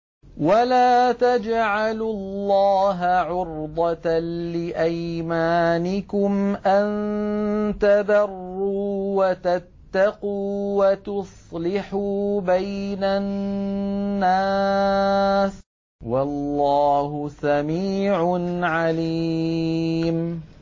وَلَا تَجْعَلُوا اللَّهَ عُرْضَةً لِّأَيْمَانِكُمْ أَن تَبَرُّوا وَتَتَّقُوا وَتُصْلِحُوا بَيْنَ النَّاسِ ۗ وَاللَّهُ سَمِيعٌ عَلِيمٌ